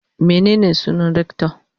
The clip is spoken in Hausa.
Menene sunan rector?